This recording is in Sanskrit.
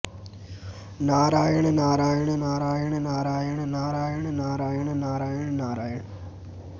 नारायण नारायण नारायण नारायण नारायण नारायण नारायण नारायण